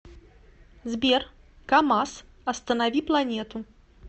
сбер камаз останови планету